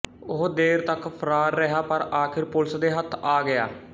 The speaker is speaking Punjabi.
ਉਹ ਦੇਰ ਤੱਕ ਫਰਾਰ ਰਿਹਾ ਪਰ ਆਖਿਰ ਪੁਲਿਸ ਦੇ ਹੱਥ ਆ ਗਿਆ